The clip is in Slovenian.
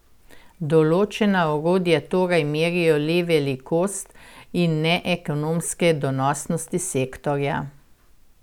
Določena orodja torej merijo le velikost, in ne ekonomske donosnosti sektorja.